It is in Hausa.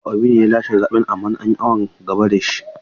Peter Obi ne ya lashe zaɓen amma an yi awon gaba da shi.